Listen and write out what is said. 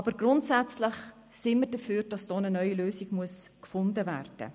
Aber grundsätzlich sind wir dafür, dass hier eine neue Lösung gefunden wird.